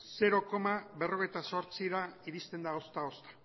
zero koma berrogeita zortzira iristen da ozta ozta